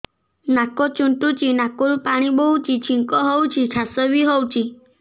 ନାକ ଚୁଣ୍ଟୁଚି ନାକରୁ ପାଣି ବହୁଛି ଛିଙ୍କ ହଉଚି ଖାସ ବି ହଉଚି